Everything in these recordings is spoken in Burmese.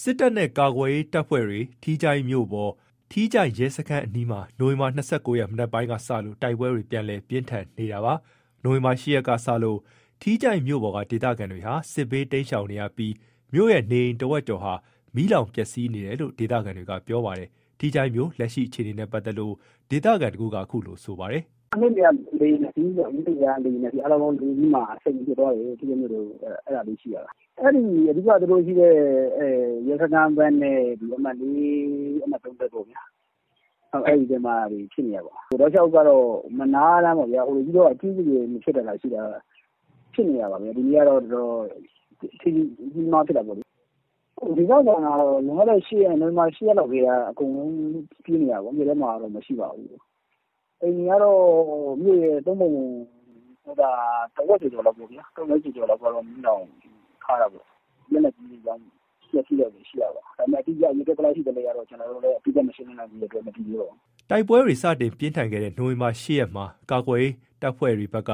စစ်တပ်နဲ့ ကာကွယ်ရေးတပ်ဖွဲ့တွေ ထီးချိုင့်မြို့ပေါ်၊ ထီးချိုင့် ရဲစခန်းအနီးမှာ နိုဝင်ဘာ ၂၉ ရက် မနက်ပိုင်းကစလို့ တိုက်ပွဲတွေ ပြန်လည် ပြင်းထန်နေတာပါ။ နိုဝင်ဘာ ၈ ရက်ကစလို့ ထီးချိုင့်မြို့ပေါ်က ဒေသခံတွေဟာ စစ်ဘေးတိမ်းရှောင်နေကြပြီး မြို့ရဲ့နေအိမ် တဝက်ကျော်ဟာ မီးလောင်ပျက်စီးနေတယ်လို့ ဒေသခံတွေက ပြောပါတယ်။ ထီးချိုင့်မြို့လက်ရှိအခြေအနေနဲ့ ပတ်သက်လို့ ဒေသခံတဦးက အခုလို ပြောပါတယ်။ “နေ့လည်က လေယာဉ် ၂ စီး ညနေက လေယာဉ် ၂ စီး အားလုံးပေါင်း ၄ စီးမှာ ၁၀ ကြိမ်ပစ်သွားတယ်။ အဓိက သူတို့ရဲစခန်းနဲ့ အမှတ် ရပ်ကွက်နဲ့ အမှတ် ရပ်ကွက်နားတွေမှာ တိုက်ပွဲတွေဖြစ်နေတာ။ တောက်လျှောက်မနားတမ်းပေါ့ ကြီးကြီးကျယ်ကျယ် မဖြစ်တာသာရှိတာ ဖြစ်နေတာပါပဲ။ ဒီနေ့ကတော့ တော်တော် ကြီးကြီးမားမား ဖြစ်တာပေါ့လေ။ ဒေသခံတွေကတော့ နိုဝင်ဘာ ၈ လောက်ကတည်းက အကုန်လုံး ပြေးနေရတာပေါ့။ မြို့ထဲမှာတော့ မရှိပါဘူး။ အိမ်တွေကတော့ မြို့ရဲ့ ၃ ပုံပုံ ၁ ဝက်ကျော်ကျော်လောက်က မီးလောင်ထားတာပေါ့။ လက်နက်ကြီးတွေကြောင့်ပျက်စီးတာတွေရှိတာပေါ့။ ဒါပေမယ့် ဘယ်လောက်ပျက်စီးတယ် အတိအကျတော့ ကျွန်တော်တို့လည်း မသိသေးပါဘူး။” တိုက်ပွဲတွေစတင်ပြင်းထန်ခဲ့တဲ့ နိုဝင်ဘာ ၈ ရက်မှာ ကာကွယ်ရေး တပ်ဖွဲ့တွေဘက်က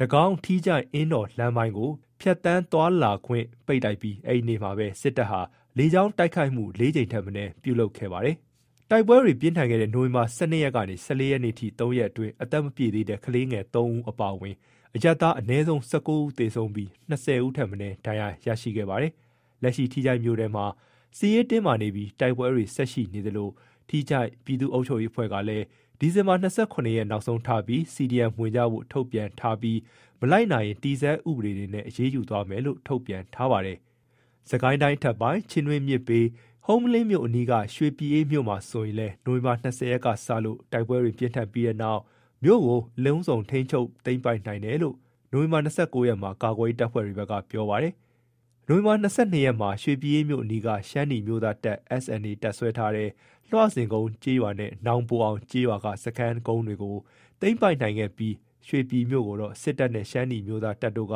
တကောင်း - ထီးချိုင့်- အင်းတော် လမ်းပိုင်းကို ဖြတ်သန်းသွားလာခွင့်တွေပိတ်လိုက်ပြီး အဲ့ဒီနေ့မှာပဲ စစ်တပ်ဟာ လေကြောင်းတိုက်ခိုက်မှု ၄ ကြိမ်ထက်မနည်း ပြုလုပ်ခဲ့ပါတယ်။ တိုက်ပွဲတွေပြင်းထန်ခဲ့တဲ့ နိုဝင်ဘာ ၁၂ ရက်နေ ၁၄ ရက်အထိ ၃ ရက်အတွင်း အသက်မပြည့်သေးတဲ့ ကလေးငယ် ၃ ဦး အပါအဝင် အရပ်သား အနည်းဆုံး ၁၉ ဦး သေဆုံးခဲ့ပြီး ၂၀ ဦးထက် မနည်းဒဏ်ရာရရှိခဲ့ပါတယ်။ လက်ရှိထီးချိုင့်မြို့ထဲမှာ စစ်ရေးတင်းမာနေပြီး တိုက်ပွဲတွေ ဆက်ရှိနေသလို ထီးချိုင့်ပြည်သူ့အုပ်ချုပ်ရေးအဖွဲ့ကလည်း ဒီဇင်ဘာ ၂၇ ရက်နောက်ဆုံးထားပြီး CDM ဝင်ကြဖို့ ထုတ်ပြန်ထားပြီး မလိုက်နာရင် တည်ဆဲဥပဒေတွေနဲ့ အရေးယူသွားမယ်လို့လည်း ထုတ်ပြန်ထားပါတယ်။ စစ်ကိုင်းတိုင်းအထက်ပိုင်း ချင်းတွင်းမြစ်ဘေး ဟုမ္မလင်းမြို့အနီးက ရွှေပြည်အေးမြို့မှာဆိုရင်လည်း နိုဝင်ဘာ ၂၀ ကစလို့ တိုက်ပွဲတွေပြင်းထန်ပြီးတဲ့နောက် မြို့ကို အလုံးစုံ ထိန်းချုပ်သိမ်းပိုက်လိုက်နိုင်တယ်လို့ နိုဝင်ဘာ ၂၉ ရက်မှာ ကာကွယ်ရေး တပ်ဖွဲ့တွေ ဘက်က ပြောပါတယ်။ နိုဝင်ဘာ ၂၂ ရက်မှာ ရွှေပြည်အေးမြို့အနီးက ရှမ်းနီအမျိုးသားတပ် တပ်စွဲထားတဲ့ လွှစင်ကုန်းကျေးရွာနဲ့ နောင်ပိုအောင် ကျေးရွာက စခန်းကုန်းတွေကို သိမ်းပိုက်နိုင်ခဲ့ပြီး ရွှေပြည်မြို့ကိုတော့ စစ်တပ်နဲ့ ရှမ်းနီအမျိုးသား တပ်တို့က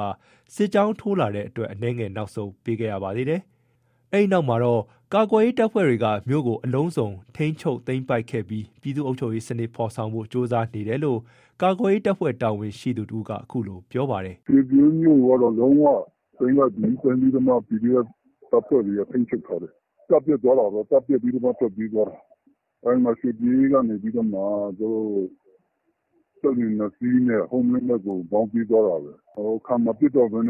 စစ်ကြောင်းထိုးလာတဲ့အတွက် အနည်းငယ် နောက်ဆုတ်ပေးခဲ့ရပါသေးတယ်။ အဲ့ဒီနောက်မှာတော့ ကာကွယ်ရေး တပ်ဖွဲ့တွေဘက်က မြို့ကို အလုံးစုံထိန်းချုပ်သိမ်းပိုက်ခဲ့ပြီး ပြည်သူ့အုပ်ချုပ်ရေး စနစ်ဖော်ဆောင်ဖို့ ကြိုးစားနေတယ်လို့ ကာကွယ်ရေးတပ်ဖွဲ့ တာဝန်ရှိသူတဦးက အခုလို ပြောပါတယ်။ “ရွှေပြည်အေးမြို့ကိုက လုံးဝသိမ်းလိုက်ပြီ သိမ်းလိုက်ပြီးတော့ ကာကွယ်ရေး တပ်ဖွဲ့တွေက ထိန်းချုပ်ထားတယ်။ တပ်ပျက်သွားတာပေါ့။ တပ်ပျက်ပြီးတော့မှ ထွက်ပြေးသွားတာ။ အဲ့မှာရွှေပြည်အေးကနေ စက်လှေ ၂ စီးနဲ့ ဟုမ္မလင်းဘက်ကို မောင်းပြေးသွားတာပဲ။ ခံမပစ်တော့ဘဲ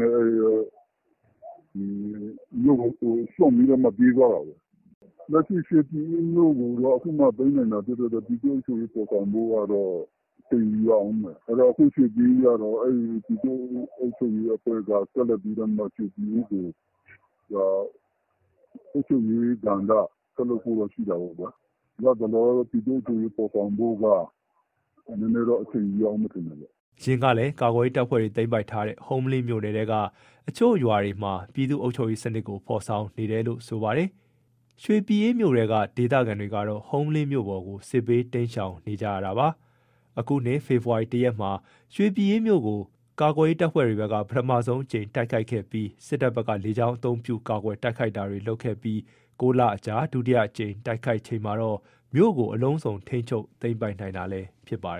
မြို့ကိုစွန့်ပြီးမှ ပြေးသွားတာပဲ။ လက်ရှိရွှေပြည်အေးမြို့ကို အခုမှ သိမ်းနိုင်တာ ဖြစ်တဲ့အတွက် ပြည်သူ့အုပ်ချုပ်ရေး ဖော်ဆောင်ဖို့ အချိန် ယူရအုံးမယ်။ အဲ့တော့ ရွှေပြည်အေးက ပြည်သူ့အုပ်ချုပ်ရေးအဖွဲ့က ရွှေပြည်အေးကို အုပ်ချုပ်ရေးကဏ္ဍ ဆက်လုပ်ဖို့ရှိတာပေါ့။ လတ်တလော ပြည်သူ့အုပ်ချုပ်ရေး ဖော်ဆောင်ဖို့က နည်းနည်းတော့ အချိန်ယူရအုံးမယ်ထင်တယ်။” အရင်ကလည်း ကာကွယ်ရေးတပ်ဖွဲ့တွေ သိမ်းပိုက်ထားတဲ့ ဟုမ္မလင်းမြို့နယ်ထဲက အချို့ရွာတွေမှာ ပြည်သူ့အုပ်ချုပ်ရေး စနစ်ကို ဖော်ဆောင်နေတယ်လို့လည်း ဆိုပါတယ်။ ရွှေပြည်အေးမြို့ထဲက ဒေသခံတွေကတော့ ဟုမ္မလင်းမြို့ပေါ်ကို စစ်ဘေးတိမ်းရှောင်နေကြပါတယ်။ အခုနှစ် ဖေဖော်ဝါရီ ၁ ရက်မှာ ရွှေပြည်အေးမြို့ကို ကာကွယ်ရေး တပ်ဖွဲ့တွေဘက်က ပထမဆုံးအကြိမ်တိုက်ခိုက်ခဲ့ပြီး စစ်တပ်ဘက်က လေကြောင်းအသုံးပြု တိုက်ခိုက်တာတွေလုပ်ခဲ့ပြီး ၉ လအကြာ ဒုတိယအကြိမ် တိုက်ခိုက်ချိန်မှာတော့ မြို့ကို အလုံးစုံ ထိန်းချုပ် သိမ်းပိုက်နိုင်တာလည်း ဖြစ်ပါတယ်